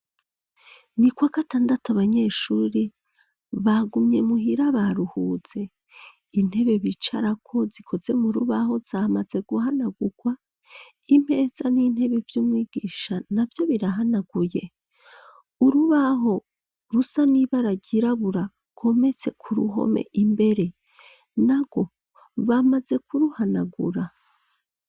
Ni kwa gatandatu ,Abanyeshuri bagumye muhira baruhuze .Intebe bicarako zikoze mu rubaho zamaze guhanagurwa. Imeza n'intebe vyumwigisha na vyo birahanaguye urubaho rusa n'ibara ryirabura rwometse ku ruhome imbere narwo bamaze kuruhanagura .